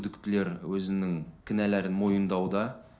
күдіктілер өзінің кінәларын мойындауда